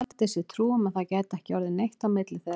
Taldi sér trú um að það gæti ekki orðið neitt á milli þeirra.